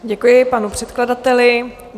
Děkuji panu předkladateli.